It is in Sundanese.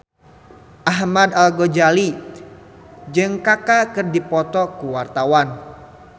Ahmad Al-Ghazali jeung Kaka keur dipoto ku wartawan